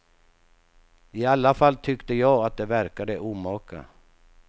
I alla fall tyckte jag att det verkade omaka.